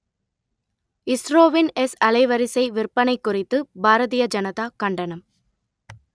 இஸ்ரோவின் எஸ் அலைவரிசை விற்பனை குறித்து பாரதிய ஜனதா கண்டனம்